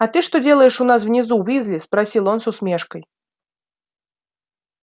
а ты что делаешь у нас внизу уизли спросил он с усмешкой